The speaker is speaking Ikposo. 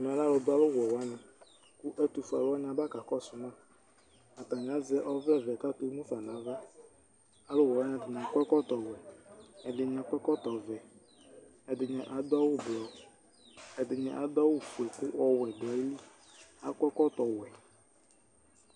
Ɛmɛ lɛ alʋ dʋ awʋ wɛ wanɩ : kʋ ɛtʋ fue alʋ wanɩ aba kakɔsʋ ma; atanɩ azɛ ɔvlɛ vɛ kakemufa nava, alʋ wɛ wanɩ akɔ ɛkɔtɔ wɛ, ɛdɩnɩ akɔ ɛkɔtɔ vɛ, ɛdɩnɩ adʋ fue ɔwɛ dʋ ayili Akɔ ɛkɔtɔ wɛ